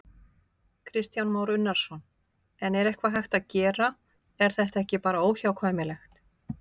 Kristján Már Unnarsson: En er eitthvað hægt að gera, er þetta ekki bara óhjákvæmilegt?